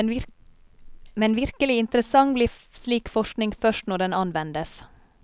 Men virkelig interessant blir slik forskning først når den anvendes.